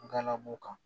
Galabu kan